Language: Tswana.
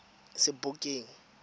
sebokeng